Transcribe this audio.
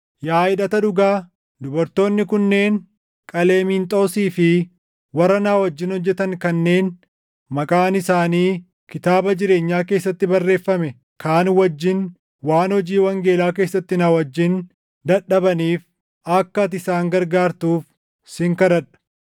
Yaa hidhata dhugaa, dubartoonni kunneen Qaleeminxoosii fi warra na wajjin hojjetan kanneen maqaan isaanii kitaaba jireenyaa keessatti barreeffame kaan wajjin waan hojii wangeelaa keessatti na wajjin dadhabaniif akka ati isaan gargaartuuf sin kadhadha.